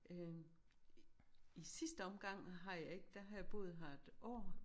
Øh i sidste omgang har jeg ikke der har jeg boet her et år